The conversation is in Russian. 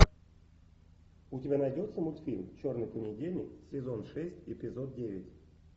у тебя найдется мультфильм черный понедельник сезон шесть эпизод девять